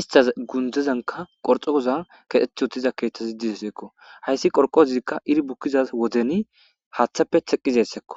istas gundzezanka qorxokoza kexeth wotiza keeththazi dizeseekko hayssi qorqozzikka iri bukkiza wodeni haaththappe teqqizessekko